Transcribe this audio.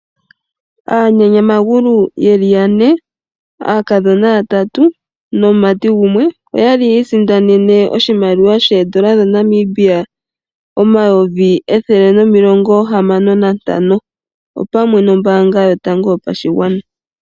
Aanyanyamagulu yeli yane, aakadhona yatatu nomumati gumwe oya sindana oshimaliwa shoondola dhaNamibia omayovi ethele nomilongo heyali nantano pamwe nombaanga yotango yopashigwana.